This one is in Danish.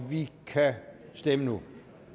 vi kan stemme nu